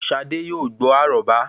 ṣadé yóò gbó àróbá